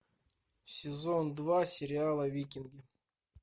сезон два сериала викинги